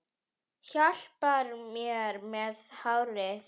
Hjálpar mér með hárið!